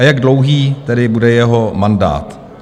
A jak dlouhý tedy bude jeho mandát?